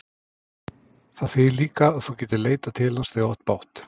Það þýðir líka að þú getir leitað til hans þegar þú átt bágt.